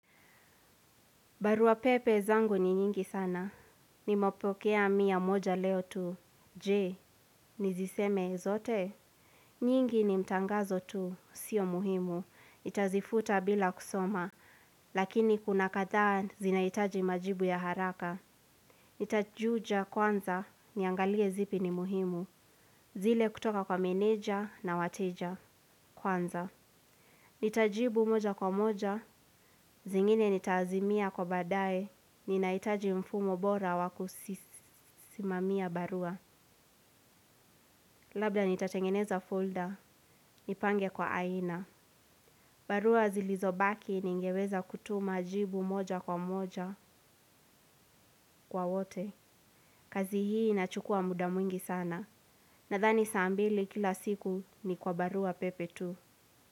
Barua pepe zangu ni nyingi sana. Ni mepokea mia moja leo tu. Je, niziseme zote? Nyingi ni mtangazo tu. Sio muhimu. Itazifuta bila kusoma. Lakini kuna kadhaa zinahitaji majibu ya haraka. Nitajuja kwanza. Niangalie zipi ni muhimu. Zile kutoka kwa meneja na wateja. Kwanza. Ni tajibu moja kwa moja, zingine ni taazimia kwa baadaye, ni nahitaji mfumo bora wakusimamia barua. Labda ni tatengeneza folder, ni pange kwa aina. Barua zilizobaki ni ngeweza kutuma jibu moja kwa moja kwa wote. Kazi hii inachukua mudamwingi sana. Nadhani saambili kila siku ni kwa barua pepe tu.